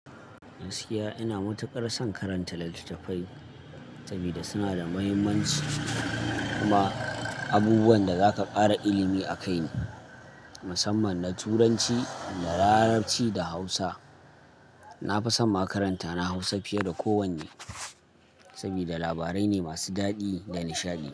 Gaskiya ina matuƙar son karanta littattafai sabida suna da mahimmanci kuma abubuwan da zaka ƙara ilimi a kai ne, musamman na Turanci da Larabci da Hausa. Na fi son ma karanta na Hausa fiye da kowanne sabida labarai ne masu daɗi da nishaɗi.